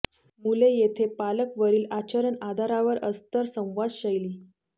मुले येथे पालक वरील आचरण आधारावर अस्तर संवाद शैली